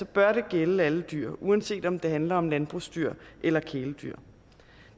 bør det gælde alle dyr uanset om det handler om landbrugsdyr eller kæledyr